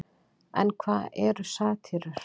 en hvað eru satírur